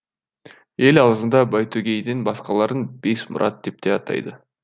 ел аузында байтөгейден басқаларын бес мұрат деп те атайды